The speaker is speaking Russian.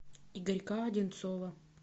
игорька одинцова